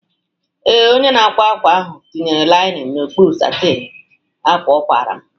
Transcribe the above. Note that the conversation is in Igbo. Ee, onye na-akwa ákwà ahụ tinyere ákwà linin n'okpuru satịn ọ kwara m